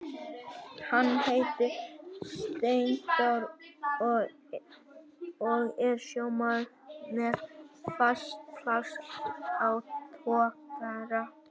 Hann heitir Steindór og er sjómaður með fast pláss á togara.